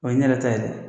O ye ne yɛrɛ ta ye dɛ